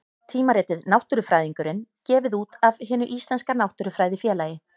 Tímaritið Náttúrufræðingurinn, gefið út af Hinu íslenska náttúrufræðifélagi.